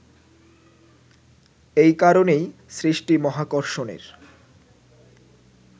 এ কারণেই সৃষ্টি মহাকর্ষণের